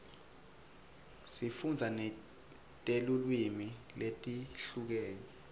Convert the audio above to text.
sifundza netilwimi letehlukene